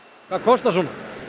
hvað kostar svona